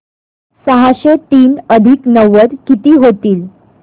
सहाशे तीन अधिक नव्वद किती होतील